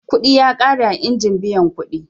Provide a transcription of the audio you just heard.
Kuɗi ya ƙare a injin biyan kuɗi.